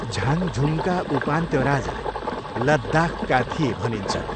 झाङझुङका उपान्त्य राजा लद्दाखका थिए भनिन्छ।